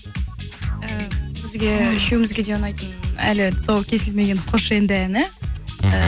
ііі бізге үшеумізге де ұнайтын әлі тұсауы кесілмеген қош енді әні мхм